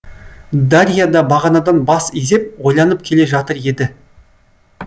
дарья да бағанадан бас изеп ойланып келе жатыр еді